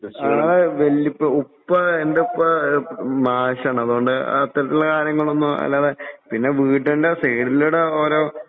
ആഹ് വല്യുപ്പ ഉപ്പ എൻറെ ഉപ്പ ആഹ് മാഷാണ് അതുകൊണ്ട് അത്തരത്തിലുള്ള കാര്യങ്ങളൊന്നും അല്ലാതെ പിന്നെ വീടിൻറെ സൈഡിലൂടെ ഓരോ